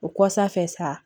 O kɔsa fɛ saa